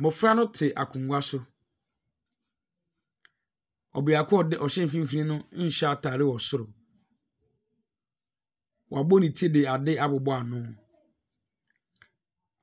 Mmofra no te akonnwa so. Ɔbeako a ɔde ɔhyɛ mfinimfini no nhyɛ ataade wɔ soro. Wɔab ne ti de ade abobɔ ano.